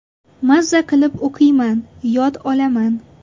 Maza qilib o‘qiyman, yod olaman.